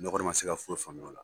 N kɔni ma se ka foyi faamuya o la